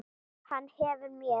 Hann hverfur mér ekki.